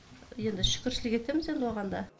енді шүкіршілік етеміз енді оған да